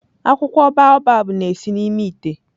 Akwụkwọ baobab na-esi n'ime ite.